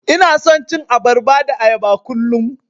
Ina son cin abarba da ayaba kullum.